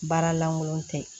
Baara lankolon tɛ